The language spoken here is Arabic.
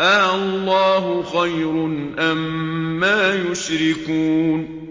آللَّهُ خَيْرٌ أَمَّا يُشْرِكُونَ